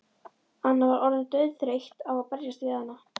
Anna var orðin dauðþreytt á að berjast við hana.